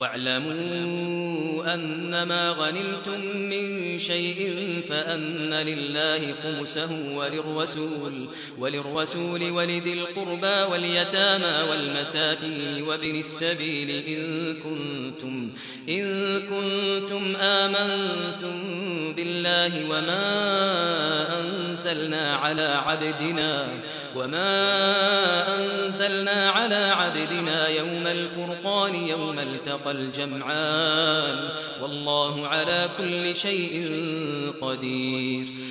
۞ وَاعْلَمُوا أَنَّمَا غَنِمْتُم مِّن شَيْءٍ فَأَنَّ لِلَّهِ خُمُسَهُ وَلِلرَّسُولِ وَلِذِي الْقُرْبَىٰ وَالْيَتَامَىٰ وَالْمَسَاكِينِ وَابْنِ السَّبِيلِ إِن كُنتُمْ آمَنتُم بِاللَّهِ وَمَا أَنزَلْنَا عَلَىٰ عَبْدِنَا يَوْمَ الْفُرْقَانِ يَوْمَ الْتَقَى الْجَمْعَانِ ۗ وَاللَّهُ عَلَىٰ كُلِّ شَيْءٍ قَدِيرٌ